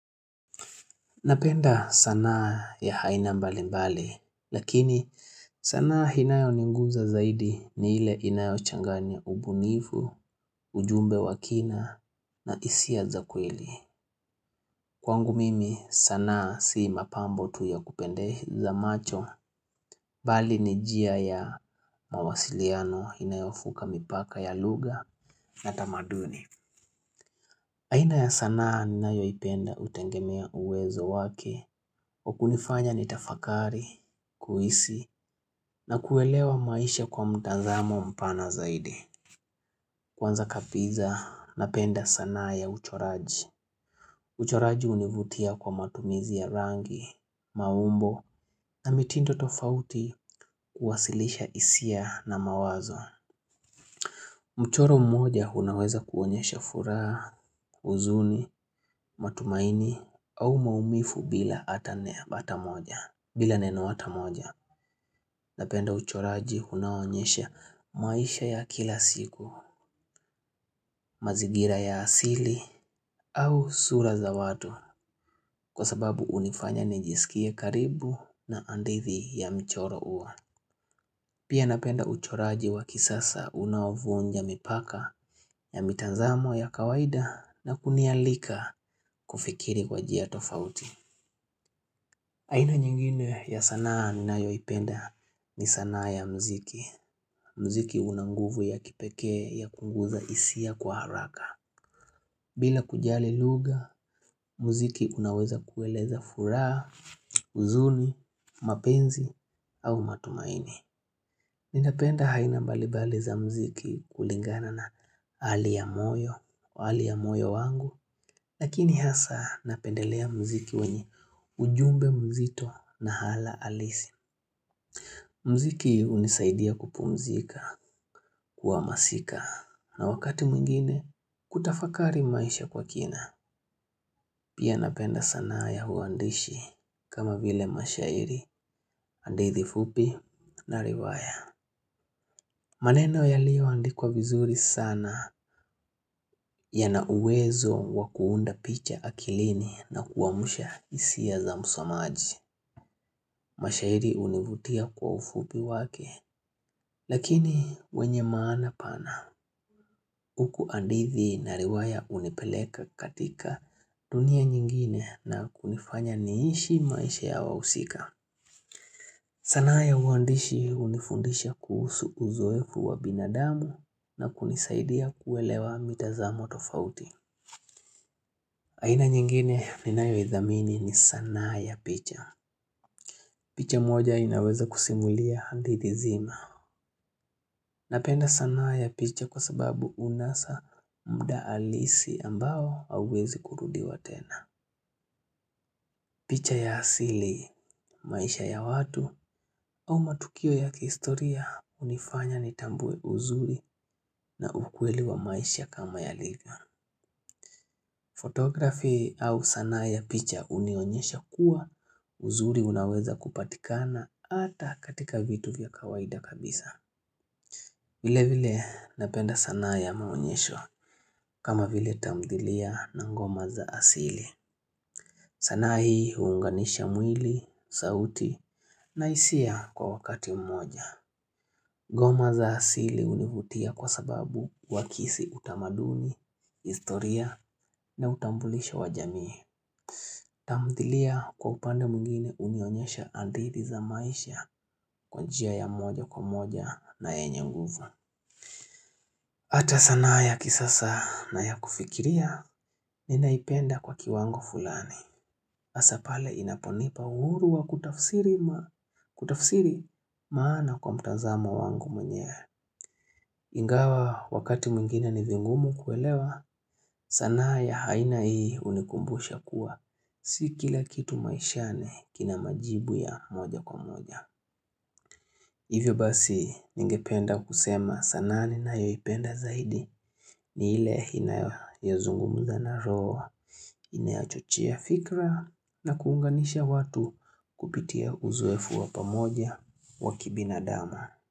Napenda sanaa ya haina mbali mbali, lakini sanaa inayo ninguza zaidi ni ile inayo changani ya ubunivu, ujumbe wakina na isia za kweli. Kwangu mimi sanaa si mapambo tu yakupendeza macho, bali ni jia ya mawasiliano inayofuka mipaka ya lugha na tamaduni. Aina ya sanaa ninayoipenda utengemea uwezo wake, wakunifanya ni tafakari, kuhisi, na kuelewa maisha kwa mtanzamo mpana zaidi. Kwanza kabisa, napenda sanaa ya uchoraji. Uchoraji univutia kwa matumizi ya rangi, maumbo, na mitindo tofauti kuwasilisha isia na mawazo. Mchoro mmoja unaweza kuonyesha furaha, huzuni, matumaini au maumifu bila atanea ata moja, bila neno ata moja. Napenda uchoraji unaonyesha maisha ya kila siku, mazigira ya asili au sura za watu kwa sababu unifanya nijisikie karibu na hadithi ya mchoro huo. Pia napenda uchoraji wa kisasa unavuonja mipaka ya mitanzamo ya kawaida na kunialika kufikiri kwa jia tofauti haina nyingine ya sanaa ninayoipenda ni sanaa ya mziki mziki una nguvu ya kipekee ya kunguza isia kwa haraka bila kujali luga, mziki unaweza kueleza furaha, uzuni, mapenzi au matumaini Ninapenda haina balibali za mziki kulingana na hali ya moyo hali ya moyo wangu, lakini hasa napendelea mziki wenye ujumbe mzito na hala alisi. Mziki unisaidia kupumzika kuamasika na wakati mwingine kutafakari maisha kwa kina. Pia napenda sanaa ya huandishi kama vile mashairi hadithi fupi na riwaya. Maneno yalioandikwa vizuri sana yana uwezo wa kuunda picha akilini na kuwamsha isia za msomaji. Mashairi univutia kwa ufupi wake, lakini wenye maana pana, uku hadithi na riwaya unipeleka katika dunia nyingine na kunifanya niishi maisha ya wausika. Sanaa ya uwandishi unifundisha kuhusu uzoefu wa binadamu na kunisaidia kuelewa mitazamo tofauti. Aina nyingine ninayo idhamini ni sanaa ya picha. Picha moja inaweza kusimulia hadithi zima. Napenda sanaa ya picha kwa sababu unasa muda alisi ambao hauwezi kurudiwa tena. Picha ya asili, maisha ya watu au matukio ya kihistoria unifanya nitambue uzuri na ukweli wa maisha kama yalivyo. Fotografi au sanaa ya picha unionyesha kuwa uzuri unaweza kupatikana ata katika vitu vya kawaida kabisa. Vile vile napenda sanaa ya maonyesho kama vile tamdhilia na ngoma za asili. Sanaa hii huunganisha mwili, sauti na isia kwa wakati mmoja. Goma za asili univutia kwa sababu wakisi utamaduni, historia na utambulisho wa jamii. Tamdhilia kwa upande mwingine unionyesha hadithi za maisha kwa njia ya moja kwa moja na enye nguvu. Hata sanaa ya kisasa na ya kufikiria ninaipenda kwa kiwango fulani. Asa pale inaponipa uhuru wa kutafsiri maana kwa mtazama wangu mwenyewe. Ingawa wakati mwingine ni vingumu kuelewa, sanaa ya haina hii unikumbusha kuwa. Si kila kitu maishani kina majibu ya moja kwa moja. Hivyo basi ningependa kusema sanaa ninayoyipenda zaidi ni ile inayo zungumuza na roho. Ineachochia fikra na kuunganisha watu kupitia uzoefu wa pamoja wa kibinadamu.